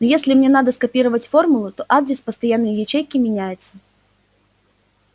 но если мне надо скопировать формулу то адрес постоянной ячейки меняется